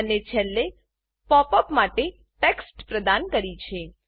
અને છેલ્લે pop up માટે ટેક્સ્ટ પ્રદાન કરી છે